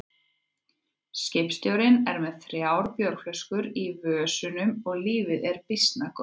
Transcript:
Skipstjórinn er með þrjár bjórflöskur í vösunum og lífið því býsna gott.